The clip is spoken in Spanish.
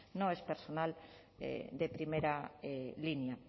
no es personal de primera línea